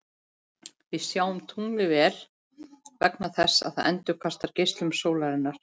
Við sjáum tunglið vel vegna þess að það endurkastar geislum sólarinnar.